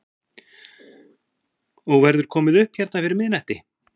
Og verður komið upp hérna fyrir miðnætti?